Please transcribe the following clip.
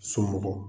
Somɔgɔ